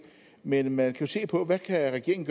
men man kan jo se på hvad regeringen